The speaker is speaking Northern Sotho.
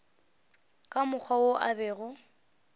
ka mokgwa wo a bego